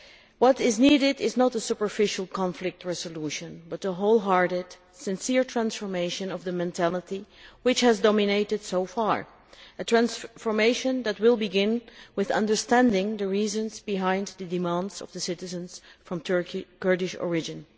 What is needed is not a superficial conflict resolution but a wholehearted, sincere transformation of the mentality which has dominated so far, a transformation that will begin with understanding the reasons behind the demands of citizens of Turkish Kurdish origin.